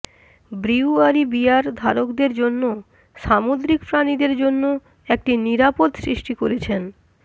brewery beer ধারকদের জন্য সামুদ্রিক প্রাণীদের জন্য একটি নিরাপদ সৃষ্টি করেছেন